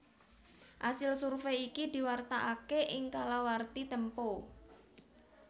Asil survèy iki diwartakaké ing kalawarti Tempo